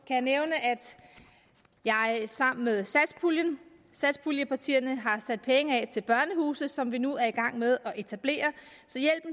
jeg nævne at jeg sammen med satspuljepartierne har sat penge af til børnehuse som vi nu er i gang med at etablere